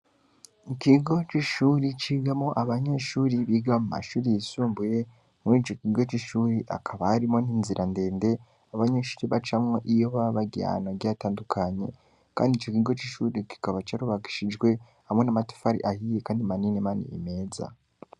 Mu kigo c'ishure cigamwo abanyeshure biga mu mashure y'isumbuye, murico kigo c'ishure hakaba harimwo n'inzira ndende abanyeshure bacamwo iyo baba bagiye ahantu hagiye hatandukanye, kandi ico kigo c'ishure kikaba carubakishijwe hamwe n'amatafari ahiye kandi manini manini meza.